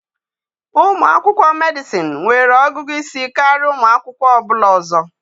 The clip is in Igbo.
Ụmụ akwụkwọ Medịsịn nwere ọgụgụ isi karịa ụmụ akwụkwọ ọ bụla ọzọ.